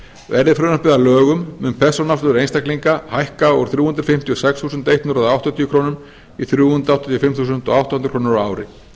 verði frumvarpið að lögum mun persónuafsláttur einstaklinga hækka úr þrjú hundruð fimmtíu og sex þúsund hundrað áttatíu krónur í þrjú hundruð áttatíu og fimm þúsund átta hundruð krónur á ári